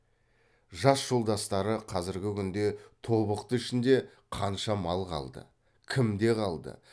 жас жолдастары қазіргі күнде тобықты ішінде қанша мал қалды кімде қалды